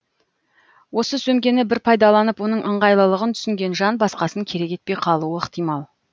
осы сөмкені бір пайдаланып оның ыңғайлылығын түсінген жан басқасын керек етпей қалуы ықтимал